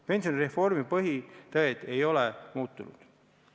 Pensionireformi põhitõed ei ole muutunud.